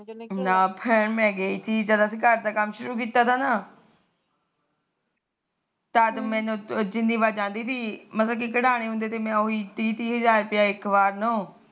ਨਾ ਭੈਣਂ ਮੈ ਗਈ ਤੀ ਜਦ ਅਸੀ ਘਰ ਦਾ ਕੰਮ ਸ਼ੁਰੂ ਕੀਤਾ ਤਾ ਨਾ ਤਦ ਮੈ ਜਿਨੀ ਵਾਰ ਜਾਂਦੀ ਤੀ ਮਤਲਬ ਕਢਾਨੇ ਹੁੰਦੇ ਤੇ ਉਹੀ ਤਿਹ ਤਿਹ ਹਜਾਰ ਇੱਕ ਵਾਰ ਨੋ